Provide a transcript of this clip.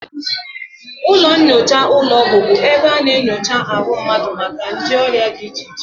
Ụlọnnyocha ụlọọgwụ bụ ebe a na-enyocha ahụ mmadụ maka nje ọrịa dị iche iche